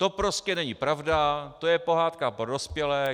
To prostě není pravda, to je pohádka pro dospělé.